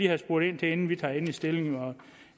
have spurgt ind til inden vi tager endelig stilling